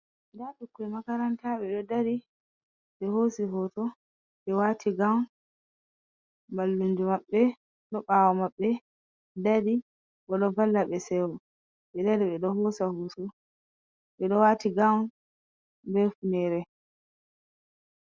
Nda bukkoi makaranta ɓe ɗo dari, ɓe hosi hoto, ɓe wati gaun, mallunjo maɓɓe ɗo ɓawo maɓɓe dari, ɓe ɗo vallaɓe seyo, ɓe ɗo wati gaun be ufu nere.